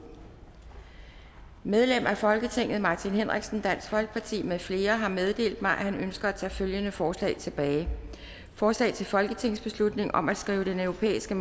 medlem af folketinget martin henriksen med flere har meddelt mig at han ønsker at tage følgende forslag tilbage forslag til folketingsbeslutning om at skrive den europæiske